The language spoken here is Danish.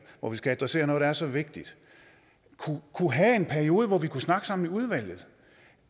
hvor vi skal adressere noget der er så vigtigt kunne have en periode hvor vi kunne snakke sammen i udvalget